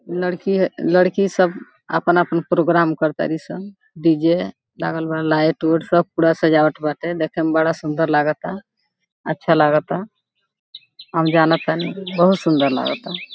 लड़की है लड़की सब आपन-आपन प्रोग्राम कर तारी सन डी.जे. लागल बाडन लाइट वोइट सब पूरा सजावट बाटे। देखे में बड़ा सुन्दर लगता अच्छा लगता हम जनतनी बहुत सुंदर लगता।